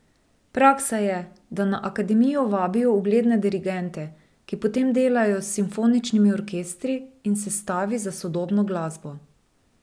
Praksa je, da na akademijo vabijo ugledne dirigente, ki potem delajo s simfoničnimi orkestri in sestavi za sodobno glasbo.